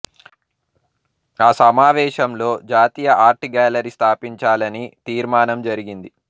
ఆ సమావేశంలో జాతీయ ఆర్ట్ గ్యాలరీ స్థాపించాలని తీర్మానం జరిగింది